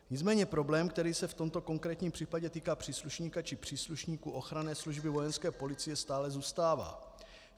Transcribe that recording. Nicméně problém, který se v tomto konkrétním případě týká příslušníka, či příslušníků ochranné služby vojenské policie, stále zůstává.